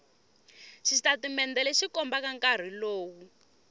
xitatimende lexi kombaka nkarhi lowu